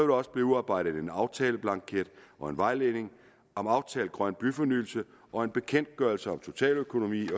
der også blive udarbejdet en aftaleblanket og en vejledning om aftalt grøn byfornyelse og en bekendtgørelse om totaløkonomi